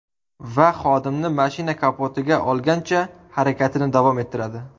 Va xodimni mashina kapotiga olgancha, harakatini davom ettiradi.